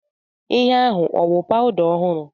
Ihe ahu ọ wụ powda ọhụrụ?